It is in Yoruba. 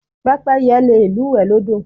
Pẹ́pẹ́yẹ le lúùwẹ́ lọ́dọ̀.